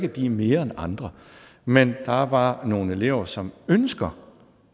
at de er mere end andre men der er bare nogle elever som ønsker